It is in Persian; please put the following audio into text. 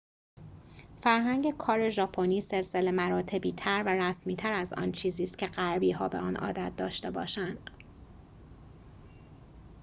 فرهنگ کار ژاپنی سلسله مراتبی تر و رسمی تر از آن چیزی ست که غربی‌ها به آن عادت داشته باشند